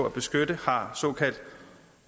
at beskytte har såkaldt